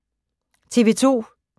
TV 2